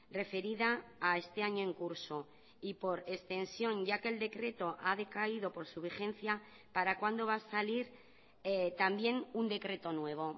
referida a este año en curso y por extensión ya que el decreto ha decaído por su vigencia para cuándo va a salir también un decreto nuevo